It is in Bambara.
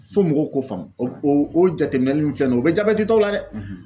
Fo mɔgɔw k'o faamu o o oo jateminɛli min filɛ nin ye o bɛ jabɛtitɔw la dɛ